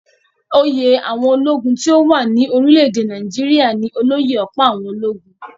Oyè àwọn ológun tí ó wà rí ní orílẹ̀-èdè Nàìjíríà ní olóyè-ọ̀pá-àwọn-ológun